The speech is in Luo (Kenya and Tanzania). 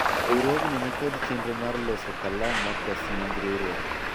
riwruogni nikod chenro mar loso kalam ma kos nying riwruok